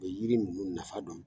U bɛ yiri ninnu nafa dɔn!